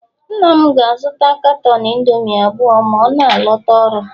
nna m ga-azụta caton indomie abụọ ma ọ na-alọta ọrụ